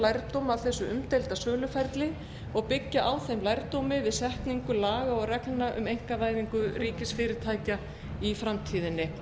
lærdóm af þessu umdeilda söluferli og byggja á þeim lærdómi við setningu laga og reglna við einkavæðingu ríkisfyrirtækja í framtíðinni